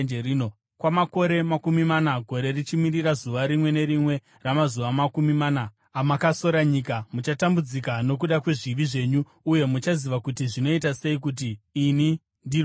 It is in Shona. Kwamakore makumi mana, gore richimirira zuva rimwe nerimwe ramazuva makumi mana amakasora nyika, muchatambudzika nokuda kwezvivi zvenyu uye muchaziva kuti zvinoita sei kuti ini ndirwe nemi.’